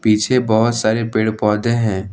पीछे बहुत सारे पेड़ पौधे हैं।